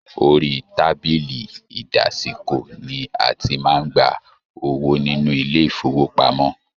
Orí tábìlì ìdásìkò ní a tí màá n gbà owó nínú ilé ifowopamọ.